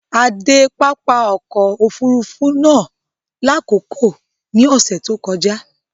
À dẹ pápá ọkọ̀ òfurufú naá lákọkọ ní ọṣẹ̀ tó kọja